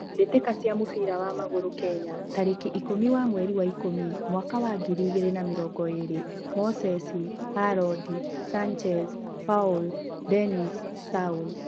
Mbitika cia mũbira wa magũrũ Kenya tarĩki ikũmi wa mweri wa Ikũmi mwaka wa ngiri igĩrĩ na mĩrongo ĩĩrĩ: Moses, Hallod, Sanchez, Paul, Dennis, Saul